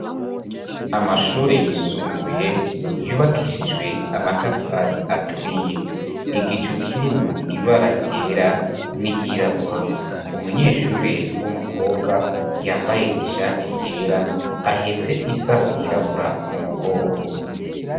Amashure yisumbuye yubakishijwe amatafari aturiye, igicu kirimwo ibara ryera n'iryirabura, umunyeshuri w'umukobwa yambaye ishati yera ahetse isaho yirabura mu mugongo.